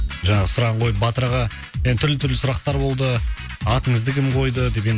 жаңағы сұрағын қойып батыр аға енді түрлі түрлі сұрақтар болды атыңызды кім қойды деп еді